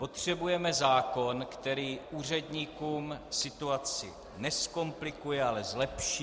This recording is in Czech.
Potřebujeme zákon, který úředníkům situaci nezkomplikuje, ale zlepší -